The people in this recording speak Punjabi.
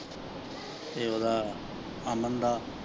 ਤੇ ਉਂਦਾ ਅਮਨ ਦਾ।